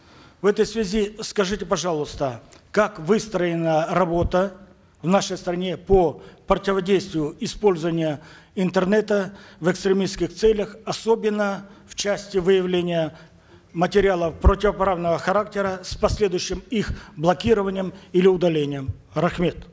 в этой связи скажите пожалуйста как выстроена работа в нашей стране по противодействию использования интернета в эсктремистских целях особенно в части выявления материалов противоправного характера с последующим их блокированием или удалением рахмет